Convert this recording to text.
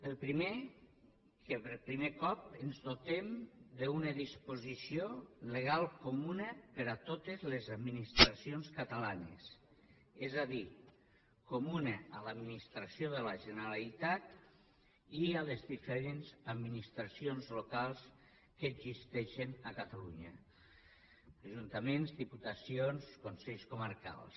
el primer que per primer cop ens dotem d’una disposició legal comuna per a totes les administracions catalanes és a dir comuna a l’administració de la generalitat i a les diferents administracions locals que existeixen a catalunya ajuntaments diputacions consells comarcals